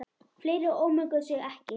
Fleiri ómökuðu sig ekki.